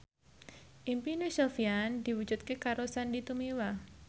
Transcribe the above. impine Sofyan diwujudke karo Sandy Tumiwa